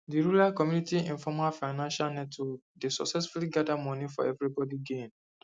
di rural community informal financial network dey successfully gather money for everybody gain